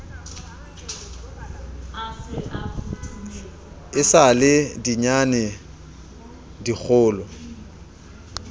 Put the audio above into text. e sa le dinyane dikgolo